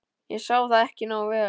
. ég sá það ekki nógu vel.